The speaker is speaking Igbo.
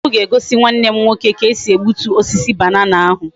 Ojukwu ga egosi Nwa nne nwoke ka esi egbutu osisi banana ahu